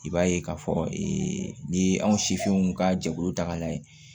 I b'a ye k'a fɔ ee n'i ye anw sifinw ka jɛkulu ta ka lajɛ